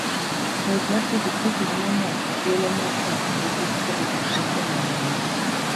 Ng'wech mar pikipiki miyo ng'ato thuolo mar paro matut kuom gik moseneno e ngima.